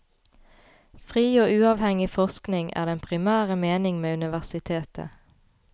Fri og uavhengig forskning er den primære mening med universitetet.